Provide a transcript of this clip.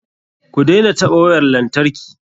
Ku daina taɓa wayar lantarki.